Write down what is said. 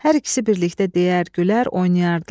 Hər ikisi birlikdə deyər, gülər, oynayardılar.